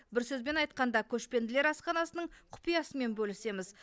бір сөзбен айтқанда көшпенділер асханасының құпиясымен бөлісеміз